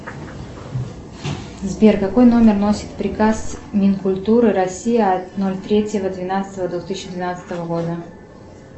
сбер какой номер носит приказ минкультуры россии от ноль третьего двенадцатого двух тысячи двенадцатого года